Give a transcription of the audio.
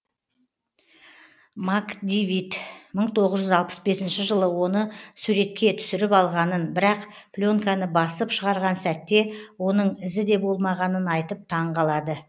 макдивитт мың тоғыз жүз алпыс бесінші жылы оны суретке түсіріп алғанын бірақ пленканы басып шығарған сәтте оның ізі де болмағанын айтып таң қалады